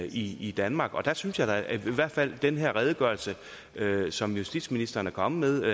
i danmark jeg synes da i hvert fald i den her redegørelse som justitsministeren er kommet